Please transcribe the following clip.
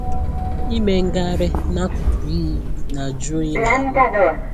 Ịme ngagharị n'akụkụ iyi na-ajụ oyi n'ahụ